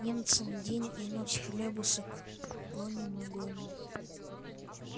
немцам день и ночь хлебушек гоним и гоним